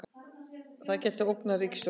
Gæti ógnað ríkisstjórninni